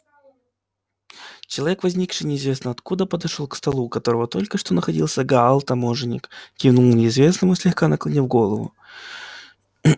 человек возникший неизвестно откуда подошёл к столу у которого только что находился гаал таможенник кивнул неизвестному слегка наклонив голову